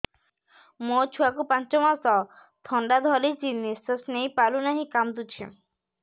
ମୋ ଛୁଆକୁ ପାଞ୍ଚ ମାସ ଥଣ୍ଡା ଧରିଛି ନିଶ୍ୱାସ ନେଇ ପାରୁ ନାହିଁ କାଂଦୁଛି